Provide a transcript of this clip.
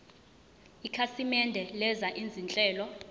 ikhasimende lenza izinhlelo